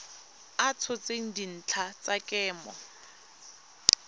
a tshotseng dintlha tsa kemo